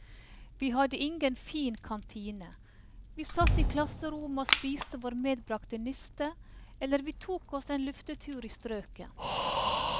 Vi hadde ingen fin kantine, vi satt i klasserommet og spiste vår medbragte niste, eller vi tok oss en luftetur i strøket.